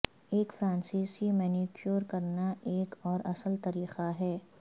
ایک فرانسیسی مینیکیور کرنا ایک اور اصل طریقہ ہے